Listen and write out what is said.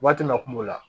Waati min na kungo la